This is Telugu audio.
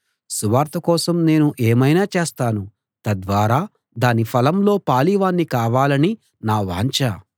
సువార్త కోసం నేను ఏమైనా చేస్తాను తద్వారా దాని ఫలంలో పాలివాణ్ణి కావాలని నా వాంఛ